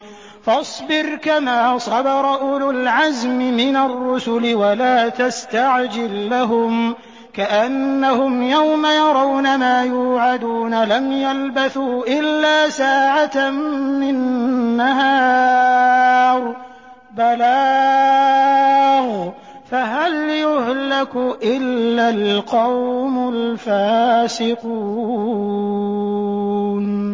فَاصْبِرْ كَمَا صَبَرَ أُولُو الْعَزْمِ مِنَ الرُّسُلِ وَلَا تَسْتَعْجِل لَّهُمْ ۚ كَأَنَّهُمْ يَوْمَ يَرَوْنَ مَا يُوعَدُونَ لَمْ يَلْبَثُوا إِلَّا سَاعَةً مِّن نَّهَارٍ ۚ بَلَاغٌ ۚ فَهَلْ يُهْلَكُ إِلَّا الْقَوْمُ الْفَاسِقُونَ